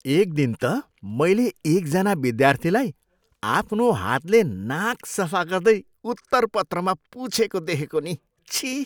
एक दिन त मैले एकजना विद्यार्थीलाई आफ्नो हातले नाक सफा गर्दै उत्तरपत्रमा पुछेको देखेको नि। छिः।